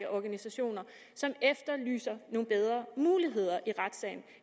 organisationer som efterlyser nogle bedre muligheder i retssagen